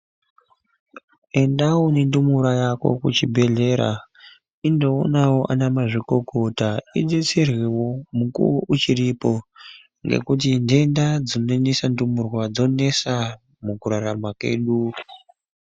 Endawo nendumura yako kuchibhedhlera indoonawo ana mazvikokota idetserwewo mukuwo uchiripo ngekuti ntenda dzinonesa ndumurwa dzonesa mukurarama kwedu.